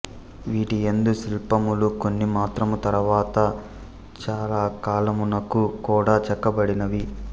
వీటియందు శిల్పములు కొన్ని మాత్రము తరువాత చాలకాలమునకు కూడా చెక్కబదినవి